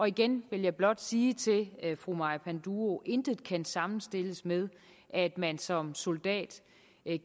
igen vil jeg blot sige til fru maja panduro intet kan sammenstilles med at man som soldat